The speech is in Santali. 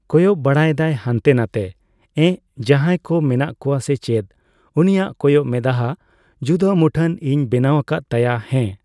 ᱠᱚᱭᱚᱜ ᱵᱟᱲᱟᱭᱮᱫᱟᱭ ᱦᱟᱱᱛᱮ ᱱᱟᱛᱮ ᱾ᱮᱸᱜ ᱡᱟᱦᱟᱭ ᱠᱚ ᱢᱮᱱᱟᱜ ᱠᱚᱣᱟ ᱥᱮ ᱪᱮᱫ ᱾ ᱩᱱᱤᱭᱟᱜ ᱠᱚᱭᱚᱜ ᱢᱮᱫᱦᱟ ᱡᱩᱫᱟᱹ ᱢᱩᱴᱷᱟᱹᱱ ᱤᱧ ᱵᱮᱱᱟᱣ ᱠᱟᱫ ᱛᱟᱭᱟ ᱦᱮᱸ